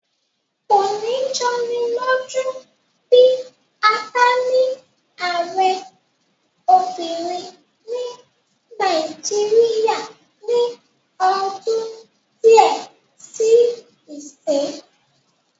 Kò ní jọni lójú bí a bá ní ààrẹ obìnrin ní Nàìjíríyà ní ọdún díẹ̀ sí ìsín